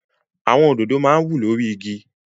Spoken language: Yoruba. Àwọn òdòdó máa ń wù lórí igi.